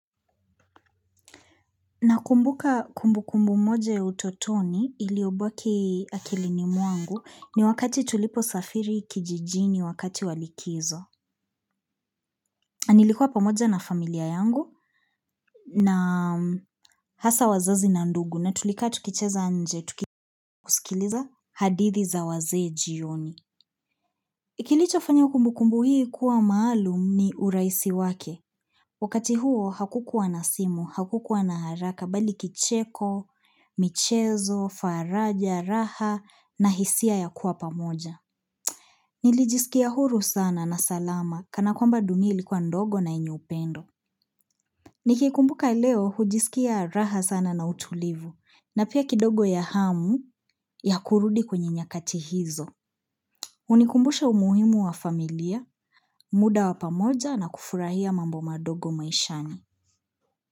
Nakumbuka kumbukumbu moja ya utotoni iliobaki akilini mwangu ni wakati tuliposafiri kijijini wakati wa likizo. Nilikuwa pamoja na familia yangu na hasa wazazi na ndugu na tulikaa tukicheza nje, tukisikiliza hadithi za wazee jioni. Kilichofanya kumbukumbu hii kuwa maalum ni urahisi wake. Wakati huo hakukuwa na simu, hakukuwa na haraka bali kicheko, michezo, faraja, raha na hisia ya kuwa pamoja. Nilijisikia huru sana na salama kanakwamba dunia ilikuwa ndogo na yenye upendo. Nikikumbuka leo hujisikia raha sana na utulivu na pia kidogo ya hamu ya kurudi kwenye nyakati hizo. Hunikumbusha umuhimu wa familia, muda wa pamoja na kufurahia mambo madogo maishani.